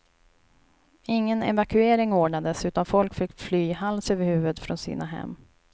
Ingen evakuering ordnades utan folk fick fly hals över huvud från sina hem.